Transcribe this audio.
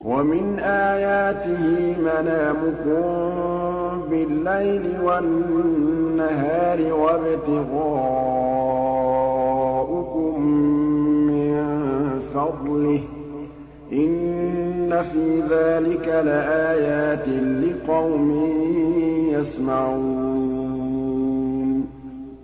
وَمِنْ آيَاتِهِ مَنَامُكُم بِاللَّيْلِ وَالنَّهَارِ وَابْتِغَاؤُكُم مِّن فَضْلِهِ ۚ إِنَّ فِي ذَٰلِكَ لَآيَاتٍ لِّقَوْمٍ يَسْمَعُونَ